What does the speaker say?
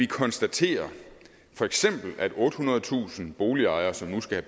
konstatere at ottehundredetusind boligejere som nu skal